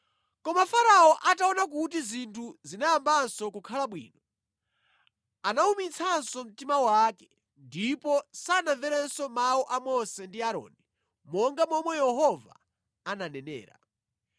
Koma Farao ataona kuti zinthu zinayambanso kukhala bwino, anawumitsanso mtima wake ndipo sanamverenso mawu a Mose ndi Aaroni, monga momwe Yehova ananenera.